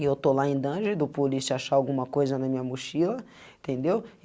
E eu estou lá em do polícia achar alguma coisa na minha mochila, entendeu?